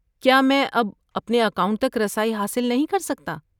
کیا میں اب اپنے اکاؤنٹ تک رسائی حاصل نہیں کر سکتا؟